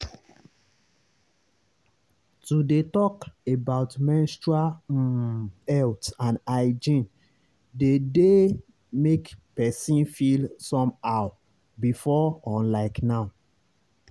to dey talk about menstrual um health and hygiene dey dey make person feel somehow before unlike now.